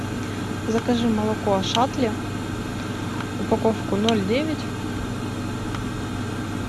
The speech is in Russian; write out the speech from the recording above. закажи молоко ашатли упаковку ноль девять